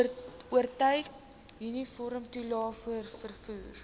oortyd uniformtoelae vervoer